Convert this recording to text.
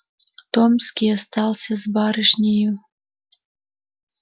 томский остался с барышнею